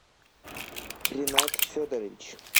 ринат федорович